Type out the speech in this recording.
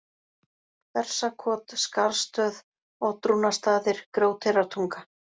Bersakot, Skarðsstöð, Oddrúnarstaðir, Grjóteyrartunga